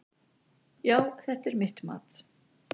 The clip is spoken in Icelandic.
Já, það er mitt mat.